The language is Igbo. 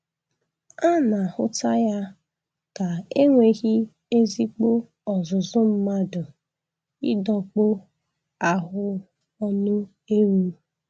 A na-ahụta ya ka enweghị ezigbo ọzụzụ mmadụ ịdọkpụ ahụ ọnụ ewu